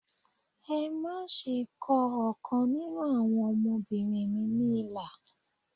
Ẹ má ṣe kọ ọ̀kan nínú àwọn ọmọbìnrin mi ní ilà